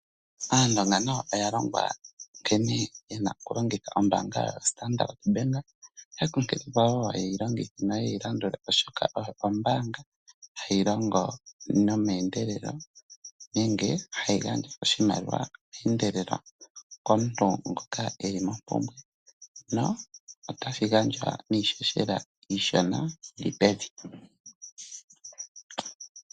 Aandonga nayo oya longwa nkene ye na okulongitha ombaanga yaStandard. Oya kunklilwa wo ye yi longithe noye yi landule, oshoka oyo ombaanga hayi longo meendelelo nenge hayi gandja oshimaliwa meendelelo komuntu ngoka e li mompumbwe notashi gandja niihohela iishona yi li pevi.